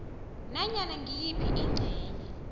nanyana ngiyiphi ingcenye